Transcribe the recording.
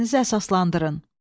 Fikrinizi əsaslandırın.